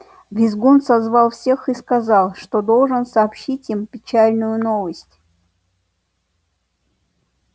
визгун созвал всех и сказал что должен сообщить им печальную новость